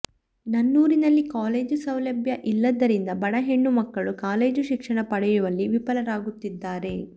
ನನ್ನೂರಿನಲ್ಲಿ college ಸೌಲಭ್ಯ ಇಲ್ಲದರಿಂದ ಬಡ ಹೆಣ್ಣು ಮಕ್ಕಳು ಕಾಲೇಜು ಶಿಕ್ಷಣ ಪಡೆಯುವಲ್ಲಿ ವಿಫಲರಾಗುತ್ತಿದ್ದಾರೆ